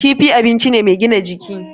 Kifi abinci ne mai gina jiki.